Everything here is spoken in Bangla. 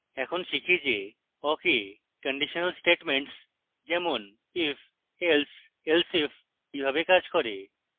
এখন শিখি যে awk এ conditional statements যেমন if else elseif কিভাবে কাজ করে